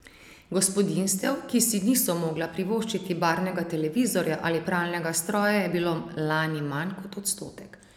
Gospodinjstev, ki si niso mogla privoščiti barvnega televizorja ali pralnega stroja, je bilo lani manj kot odstotek.